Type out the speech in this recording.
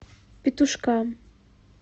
петушкам